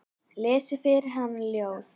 Lesi fyrir hana ljóð.